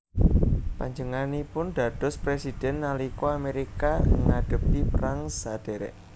Panjenenganipun dados présidhèn nalika Amérika ngadhepi perang sadhèrèk